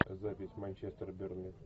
запись манчестер бернли